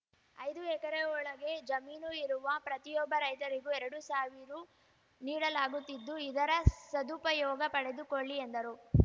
ಐದು ಎಕರೆ ಒಳಗೆ ಜಮೀನು ಇರುವ ಪ್ರತಿಯೊಬ್ಬ ರೈತರಿಗೂ ಎರಡು ಸಾವಿರೂ ನೀಡಲಾಗುತ್ತಿದ್ದು ಇದರ ಸದುಪಯೋಗ ಪಡೆದುಕೊಳ್ಳಿ ಎಂದರು